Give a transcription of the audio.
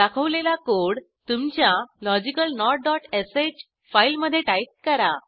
दाखवलेला कोड तुमच्या logicalnotश फाईलमधे टाईप करा